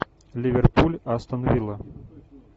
ливерпуль астон вилла